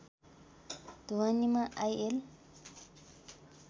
ढुवानीमा IL